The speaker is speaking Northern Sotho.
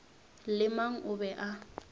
le mang o be a